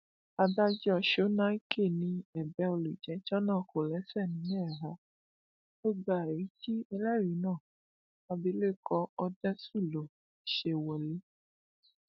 adájọ sọnàìke ni ẹbẹ olùjẹjọ náà kò lẹsẹ nílẹ rárá ó gba ẹrí tí ẹlẹrìí náà abilékọ òdeṣúlò ṣe wọlẹ